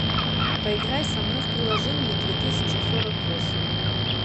поиграй со мной в приложение две тысячи сорок восемь